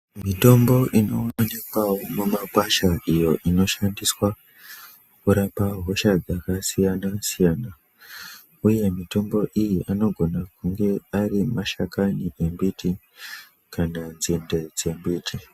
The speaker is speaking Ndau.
Mitombo ino wanikwa mu makwasha iyo shandiswa kurapa hosha dzaka siyana siyana uye mitombo iyi anogona kunge ari mashakani embiti kana nzinde dze mbiti.